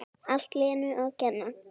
Allt Lenu að kenna!